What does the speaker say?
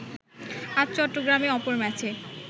আজ চট্টগ্রামে অপর ম্যাচে